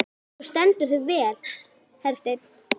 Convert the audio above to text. Þú stendur þig vel, Hersteinn!